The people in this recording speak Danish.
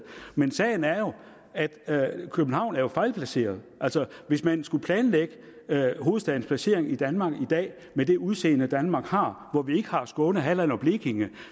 men sagen er jo at københavn er fejlplaceret altså hvis man skulle planlægge hovedstadens placering i danmark i dag med det udseende danmark har hvor vi ikke har skåne halland og blekinge